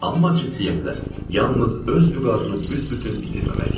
Amma ciddiyyətlə, yalnız öz vüqarını büsbütün itirməmək üçün.